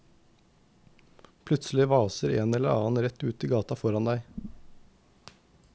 Plutselig vaser en eller annen rett ut i gata foran deg.